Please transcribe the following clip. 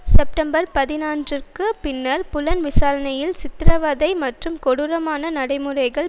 September பதினொன்றுற்கு பின்னர் புலன் விசாரணையில் சித்தரவதை மற்றும் கொடூரமான நடைமுறைகள்